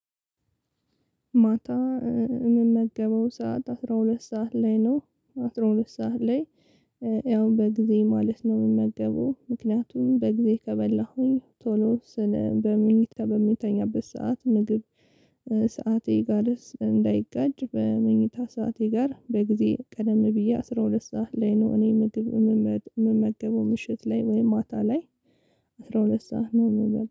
ማታ የምመገበው ሰዓት አስራ ሁለት ሰዓት ላይ ነው አስራ ሁለት ሰዓት ላይ። ያው በጊዜ ማለት ነው የምገበው ምክንያቱም በጊዜ ከበላሁኝ ቶሎ ስን በመኝታ በምተኛበት ሰዓት ምግብ። ሰዓቴ ጋርስ እንዳይጋጭ በመኝታ ሰዓቴ ጋር በጊዜ ቀደም ብዬ አስራ ሁለት ሰዓት ላይ ነው። እኔ ምግብ የምመ የምመገበው ምሽት ላይ ወይም ማታ ላይ። አስራ ሁለት ሰዓት ነው ምበላው